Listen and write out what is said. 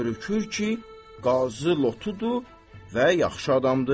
Görükür ki, Qazı lotudur və yaxşı adamdır.